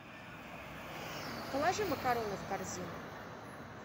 положи макароны в корзину